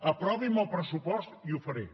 aprovi’m el pressupost i ho faré